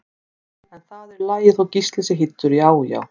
En það er í lagi þótt Gísli sé hýddur, já já!